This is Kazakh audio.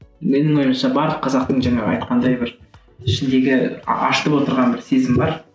менің ойымша бар қазақтың жаңағы айтқандай бір ішіндегі ашытып отырған бір сезім бар